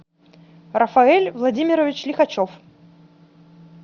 рафаэль владимирович лихачев